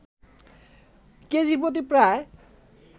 কেজিপ্রতি প্রায়